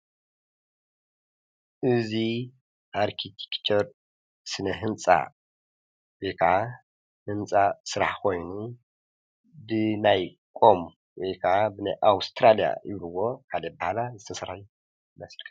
እዚ አርክቴከቸር ስነ ህንፃ ወይ ከዓ ህንፃ ስራሕ ኾይኑ ብናይ ቆም ወይ ከዓ ብናይ አወስትራለያ ይብልዎ በካሊእ አባሃላ ዝተሰርሐ መስቀል፡፡